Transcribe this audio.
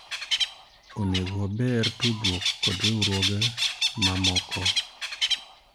onego waber tudruok kod riwruoge mamoko